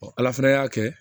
ala fana y'a kɛ